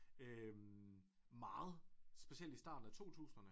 Øh meget specielt i starten af totusinderne